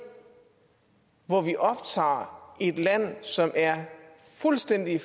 hvor vi optager et land som er fuldstændig